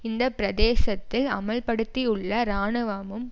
இந்த பிரதேசத்தில் அமுல்படுத்தியுள்ள இராணுவமும்